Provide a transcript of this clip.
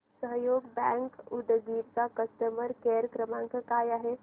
सहयोग बँक उदगीर चा customer care क्रमांक काय आहे